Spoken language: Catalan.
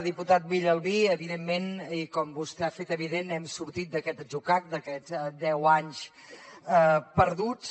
diputat villalbí evidentment i com vostè ha fet evident hem sortit d’aquest atzucac d’aquests deu anys perduts